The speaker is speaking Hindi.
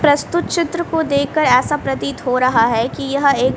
प्रस्तुत चित्र को देखकर ऐसा प्रतीत हो रहा है कि यह एक --